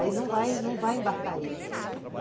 Aí não vai não vai embarcar ele.